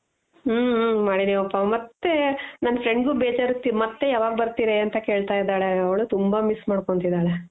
ಹ್ಮ ಹ್ಮ ಮಾಡಿದಿವಪ ಮತ್ತೆ ನನ್ friend ಗೂ ಬೇಜಾರ್, ಮತ್ತೆ ಯವಾಗ್ ಬರ್ತಿರೆ ಅಂತ ಕೇಳ್ತಾ ಇದಾಳೆ ಅವ್ಳು ತುಂಬ miss ಮಾಡ್ಕೊಂತಿದಾಳೆ.